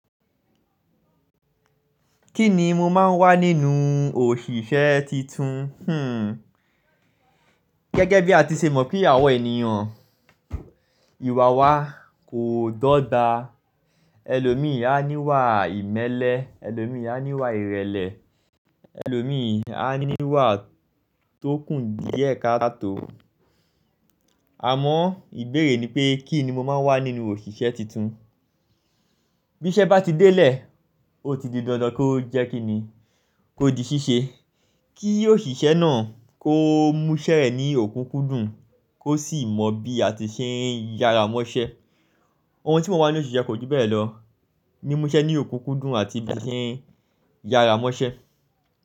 Kí ni mo máa ń wá nínú òṣìṣẹ́ titun? Hmm. Gẹ́gẹ́ bí a ti ṣe mọ̀ pé àwọn ènìyàn, ìwà wa kò dọ̀ba. Ẹlòmíì á ní wà ìmẹ́lẹ́, ẹlòmíì á ní wà ìrẹ̀lẹ̀, ẹlòmíì á ní wà tókù díẹ̀ katò. Àmọ́ ìbéèrè ni pé kí ni mo máa wá nínú òṣìṣẹ́ titun? Bí iṣẹ́ bá ti délé, ó ti di dandan kó jẹ́ kí ni, kó di ṣíṣe. Kí òṣìṣẹ́ náà kó múṣẹ́ ẹ̀ ní òkú kúdùn, kó sì mọ bí a ti ṣe ń yára mọ́ṣẹ́. Ohun tí mo máa ń wá nínú òṣìṣẹ́ kò ju bẹ́ẹ̀ lọ. Ni múṣẹ́ ní òkú kúdùn àti bí a ṣe ń yára mọ́ṣẹ́.